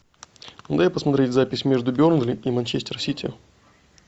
дай посмотреть запись между бернли и манчестер сити